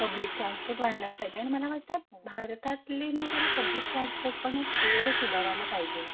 Public transport व्हायलाच पाहिजे आणि मला वाटत भारतातले ना जरा पब्लिक ट्रान्सपोर्ट पण हे थोडं सुधारायला पाहिजे.